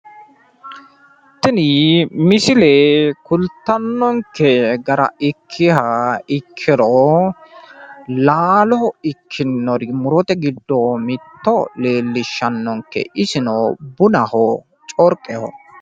tini misile kultanonke gara ikkiha ikkiro laalo ikkinori murote giddo mitto leellishannonke isino bunaho corqeho.